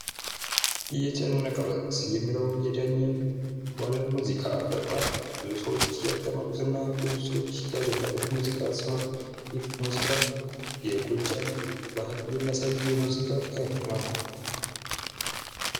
"የጨነቀ ለት" የሚለዉ የዳኘ ዋለ ሙዚቃ በጣም ብዙዎች እያዳመጡት እና ያደነቁት ሙዚቃ ሲሆን ይህ ሙዚቃ የጎጃምን ባህል የሚያሳይ የሙዚቃ አይነት ነዉ።